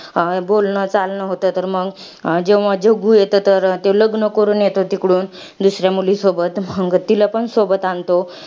बोलणं, चालणं होतंय तर मंग, जेव्हा जग्गू येतो तेव्हा ते लग्न करून येतं तिकडून. दुसऱ्या मुलीसोबत. मंग तिला पण सोबत आणतो.